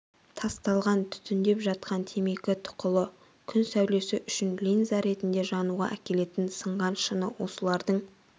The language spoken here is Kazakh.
тасталған түтіндеп жатқан темекі тұқылы күн сәулесі үшін линза ретінде жануға әкелетін сынған шыны осылардың